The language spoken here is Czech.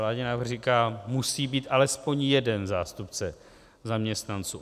Vládní návrh říká, musí být alespoň jeden zástupce zaměstnanců.